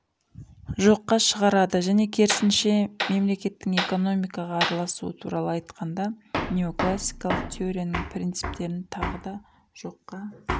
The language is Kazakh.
жоққа шығарады және керісінше мемлееттің экономикаға араласуы туралы айтқанда неоклассикалық теорияның принциптерін тағы да жоққа